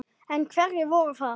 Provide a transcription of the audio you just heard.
En hverjir voru það?